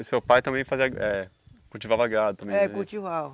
E seu pai também fazia... eh cultivava gado também? É, cultivava